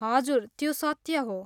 हजुर, त्यो सत्य हो।